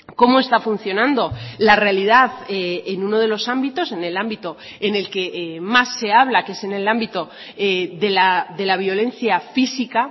cómo está funcionando la realidad en uno de los ámbitos en el ámbito en el que más se habla que es en el ámbito de la violencia física